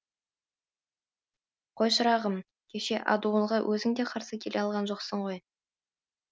қой шырағым кеше адуынға өзіңде қарсы келе алған жоқсың ғой